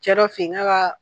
Cɛ dɔ fɛ yen, nk'a ka